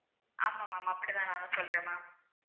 ஆமா ma'am அப்படிதான் நான் சொல்றேன் ma'am